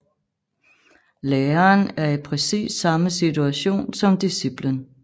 Læreren er i præcis samme situation som disciplen